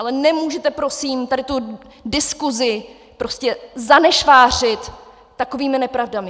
Ale nemůžete prosím tady tu diskusi zanešvářit takovými nepravdami.